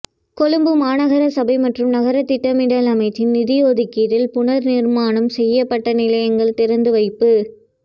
கொழும்பு மாநகர சபை மற்றும் நகரத்திட்டமிடல் அமைச்சின் நிதியொதுக்கீட்டில் புனர் நிர்மாணம் செய்யப்பட்ட நிலையங்கள் திறந்து வைப்பு